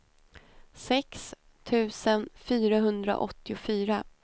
sex tusen fyrahundraåttiofyra